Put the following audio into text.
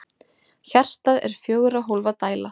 Hjartað er fjögurra hólfa dæla.